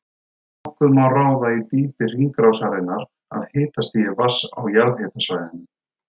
Nokkuð má ráða í dýpi hringrásarinnar af hitastigi vatns á jarðhitasvæðunum.